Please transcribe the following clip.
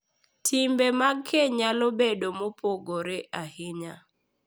Timbe mag keny nyalo bedo mopogore ahinya,